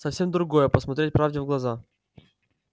совсем другое посмотреть правде в глаза